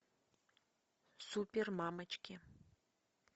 супермамочки